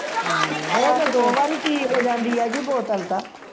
ਦੋ ਵਾਰੀ ਚ ਹੀ ਪੀ ਹੋ ਜਾਂਦੀ ਹੈ ਬੋਤਲ ਤਾਂ